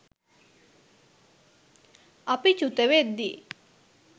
අපි චුතවෙද්දී